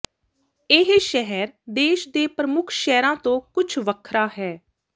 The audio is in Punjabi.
ਇਹ ਸ਼ਹਿਰ ਦੇਸ਼ ਦੇ ਪ੍ਰਮੁੱਖ ਸ਼ਹਿਰਾਂ ਤੋਂ ਕੁਝ ਵੱਖਰਾ ਹੈ